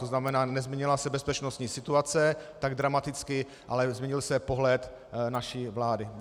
To znamená, nezměnila se bezpečnostní situace tak dramaticky, ale změnil se pohled naší vlády.